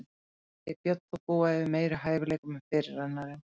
Hann segir Björn þó búa yfir meiri hæfileikum en fyrirrennarinn.